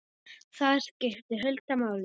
Þar skipti Hulda máli.